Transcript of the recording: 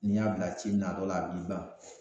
N'i y'a bila ci in na dɔ la a b'i ban